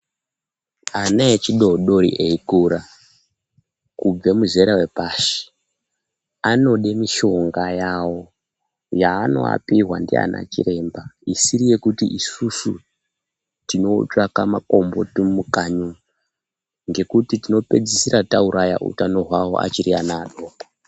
Vana vechidoodore veikura kubva muzera wepashi, anode mishonga yavo yaanopiwa nana chiremba isiri yokuti isusu tinondotsvake makomboti mukanyu umu ngekuti tinopedzisira tauraya utano hwavo achiri ana adoko.